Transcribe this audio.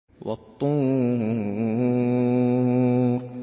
وَالطُّورِ